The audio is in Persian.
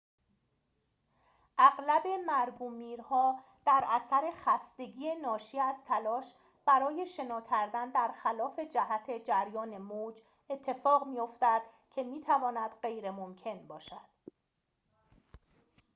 اغلب مرگ و میرها در اثر خستگی ناشی از تلاش برای شنا کردن در خلاف جهت جریان موج اتفاق می‌افتد که می‌تواند غیرممکن باشد